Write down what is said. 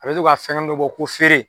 A bɛ to ka fɛngɛnnin dɔ bɔ ko feere.